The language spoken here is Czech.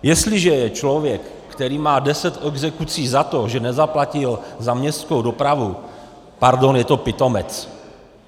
Jestliže je člověk, který má deset exekucí za to, že nezaplatil za městskou dopravu, pardon, je to pitomec.